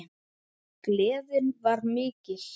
Gleðin var mikil.